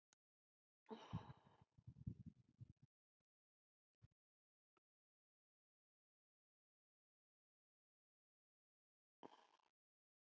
Í kringum minninguna um Reyni svifu sólsetrin einsog englar með lúðra.